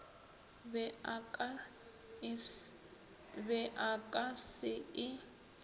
be a ka se e